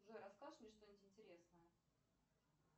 джой расскажешь мне что нибудь интересное